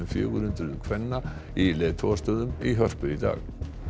fjögur hundruð kvenna í leiðtogastöðum í Hörpu í dag